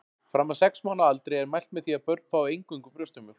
Fram að sex mánaða aldri er mælt með því að börn fái eingöngu brjóstamjólk.